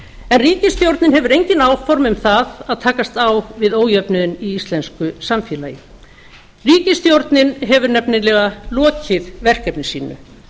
en ríkisstjórnin hefur engin áform um það að takast á við ríkisstjórnin hefur nefnilega lokið verkefni sínu